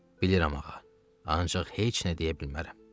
Bilirəm, ağa, ancaq heç nə deyə bilmərəm.